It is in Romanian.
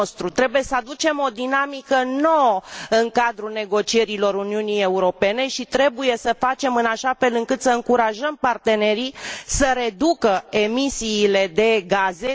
Trebuie să aducem o dinamică nouă în cadrul negocierilor Uniunii Europene și trebuie să facem în așa fel încât să încurajăm partenerii să reducă emisiile de gaze.